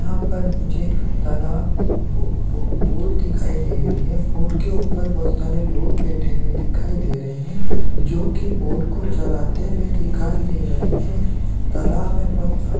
यहाँ पर मुझे तलाब बो बो बोर दिखाई दे रही है बोट के ऊपर मुझे बहुत सारे लोग बैठे हुए दिखाई दे रहे है जो की बोट कि चलाते हुए दिखाई दे रहे है तलाब मे बहुत पानी--